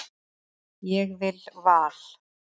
Ég vil Val.